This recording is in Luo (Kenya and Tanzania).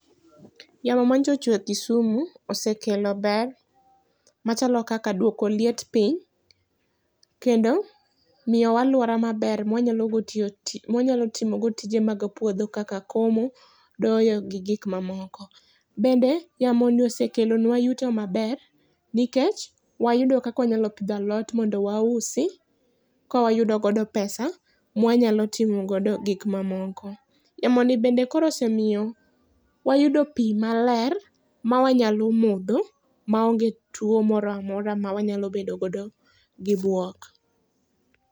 Yamo manyocha ochwe Kisumu osekelo ber machalo kaka duoko liet piny kendo miyowa aluora maber mawanyalo go tiyo, mawanyalo timo go tije mag puodho kaka komo, doyo gi gik mamoko. Bende yamoni osekelonwa yuto maber nikech wayudo kaka wanyalo pidho alot mondo wausi kawayudo godo pesa ma wanyalo timo godo gik mamoko. Yamo ni bende koro osemiyo wayudo pii maler ma wanyalo modho maonge tuo moro amora ma wanyalo bedo godo gi buok